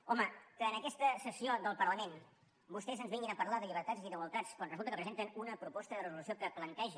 home que en aquesta sessió del parlament vostès ens vinguin a parlar de llibertats i d’igualtats quan resulta que presenten una proposta de resolució que planteja